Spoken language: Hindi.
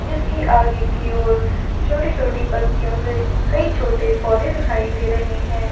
इसकी आगे की ओर छोटी -छोटी पतियों से कई छोटे पौधे दिखाई दे रहे हैं।